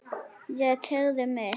Ég teygði mig.